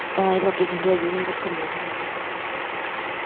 ਤਾਂ ਹੀ ਲੋਕੀ ਕਹਿੰਦੇ ਅਜੇ ਵੀ ਨਹੀਂ ਰੱਖਣੀਆ ਖਰੇ।